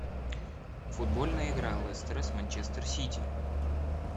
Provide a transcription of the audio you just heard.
футбольная игра лестера с манчестер сити